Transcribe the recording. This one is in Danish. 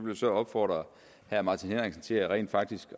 jeg så opfordre herre martin henriksen til rent faktisk